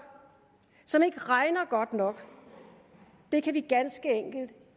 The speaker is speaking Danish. og som ikke regner godt nok det kan vi ganske enkelt